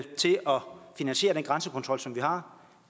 finansiere den grænsekontrol som vi har